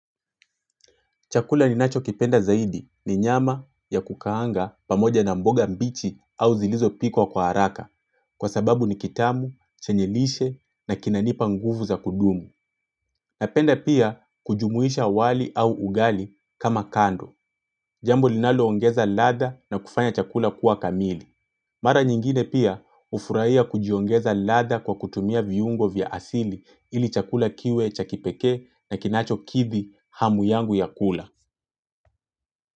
Chakula ninachokipenda zaidi ni nyama ya kukaanga pamoja na mboga mbichi au zilizo pikwa kwa haraka kwa sababu ni kitamu, chenye lishe na kinanipa nguvu za kudumu. Napenda pia kujumuisha wali au ugali kama kando. Jambo linaloongeza ladha na kufanya chakula kuwa kamili. Mara nyingine pia hufurahia kujiongeza ladha kwa kutumia viungo vya asili ili chakula kiwe cha kipekee na kinachokithi hamu yangu ya kula.